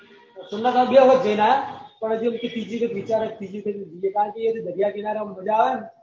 સોમનાથ ભી હમણાં જયી ને આયા પણ અજુ ત્રીજી પર વિચાર એ ત્રીજી એ જયીયે દરિયા કિનારે એમ મજા આવે ને